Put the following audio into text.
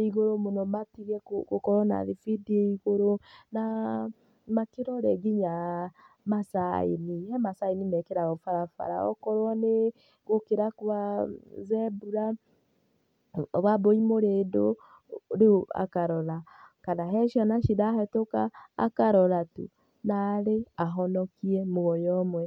ĩigũrũ mũno matige gũkorwo na thibindi ya igũrũ na makĩrore nginya masaĩni, he masaĩni mekĩragwo barabara, okorwo nĩ gũkĩra gwa Zebra, Wambui mũrĩndũ, rĩu akarora, kana he ciana cirahetũka, akarora tu narĩ ahonokie muoyo ũmwe.